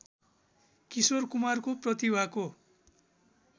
किशोर कुमारको प्रतिभाको